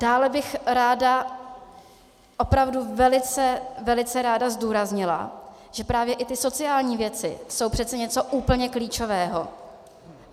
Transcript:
Dále bych ráda, opravdu velice, velice ráda zdůraznila, že právě i ty sociální věci jsou přece něco úplně klíčového.